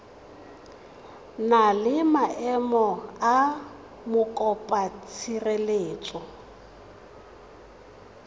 na le maemo a mokopatshireletso